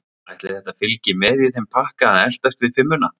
Ætli þetta fylgi með í þeim pakka að eltast við fimmuna?